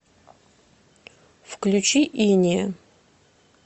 включи инея